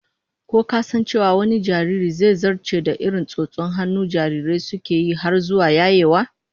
Ko ka san cewa wani jaririn, zai zarce da irin tsotson hannun jarirai suke yi har zuwa yayewa?